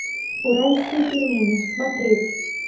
уральские пельмени смотреть